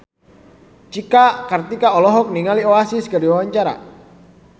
Cika Kartika olohok ningali Oasis keur diwawancara